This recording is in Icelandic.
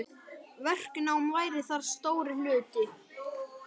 Verknám væri þar stór hluti.